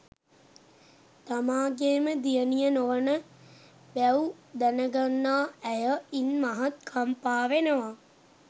තමාගේම දියණිය නොවන බැව් දැනගන්නා ඇය ඉන් මහත් කම්පා ‍වෙනවා.